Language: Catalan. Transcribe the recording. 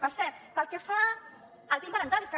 per cert pel que fa al pin parental és que